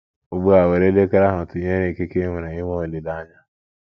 Ugbu a, were elekere ahụ tụnyere ikike i nwere inwe olileanya.